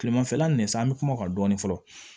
Kilemanfɛla nin san an bi kuma o kan dɔɔnin fɔlɔ